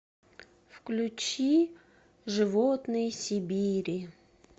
включи животные сибири